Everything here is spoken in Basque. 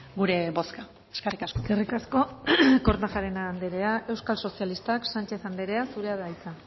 gure bozka eskerrik asko eskerrik asko kortajarena andrea euskal sozialistak sánchez andrea zurea da hitza